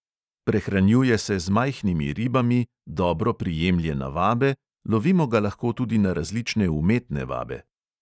Prehranjuje se z majhnimi ribami, dobro prijemlje na vabe, lovimo ga lahko tudi na različne umetne vabe.